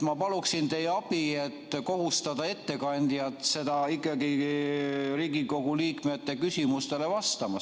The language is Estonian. Ma palun teie abi, et kohustada ettekandjat ikkagi Riigikogu liikmete küsimustele vastama.